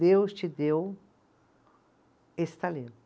Deus te deu esse talento.